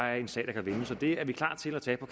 er en sag der kan vindes det er vi klar til at tage på